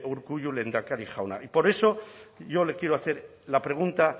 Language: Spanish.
urkullu lehendakari jauna y por eso yo le quiero hacer la pregunta